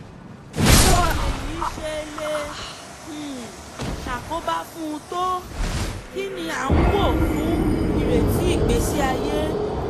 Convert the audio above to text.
báwo lèyí ṣe lè um ṣàkóbá fún un tó? kí ni a ń wò fún ìrètí ìgbésí-ayé